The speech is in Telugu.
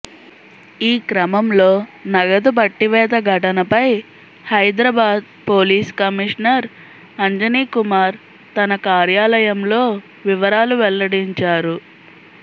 ఈక్రమంలో నగదు పట్టివేత ఘటనపై హైదరాబాద్ పోలీస్ కమిషనర్ అంజనీకుమార్ తన కార్యాలయంలో వివరాలు వెల్లడించారు